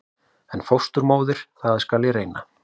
En fósturmóðir- það skal ég reyna.